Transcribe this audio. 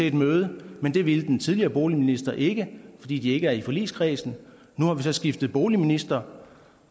et møde men det ville den tidligere boligminister ikke fordi de ikke er i forligskredsen nu har vi så skiftet boligminister